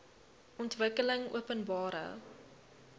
ontwikkelingopenbare